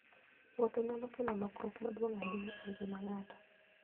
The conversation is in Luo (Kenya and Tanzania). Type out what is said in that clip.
Wuoth nyalo kelo lokruok maduong' ahinya e ngima ng'ato.